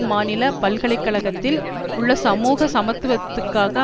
மாநில பல்கலை கழகத்தில் உள்ள சமூக சமத்துவத்துக்காக